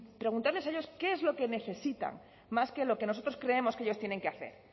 preguntarles a ellos qué es lo que necesitan más que lo que nosotros creemos que ellos tienen que hacer